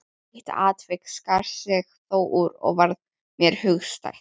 Eitt atvik skar sig þó úr og varð mér hugstætt.